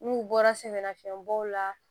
N'u bɔra sɛgɛnnafiɲɛ bɔw la